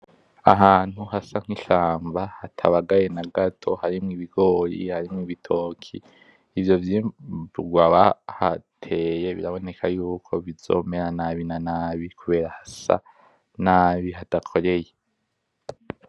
Ahantu hasa nk'ishamba hatabagaye na gato, harimwo ibigori, harimwo ibitoki. Ivyo vyimburwa bahateye biraboneka yuko bizomera nabi na nabi kubera hasa nabi hadakoreye.